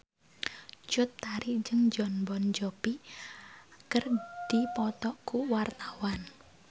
Cut Tari jeung Jon Bon Jovi keur dipoto ku wartawan